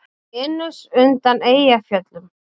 Venus undan Eyjafjöllum?